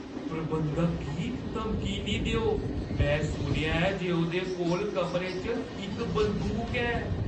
प्रबंधक गी धमकी नेईं देओ। में सुनेआ ऐ जे ओह्दे कोल कमरे च इक बंदूक ऐ।